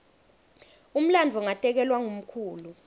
umlandvo ngatekelwa ngumkhulu